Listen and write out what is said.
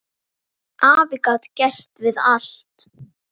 Afi gat gert við allt.